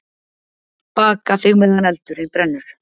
Baka þig meðan eldurinn brennur.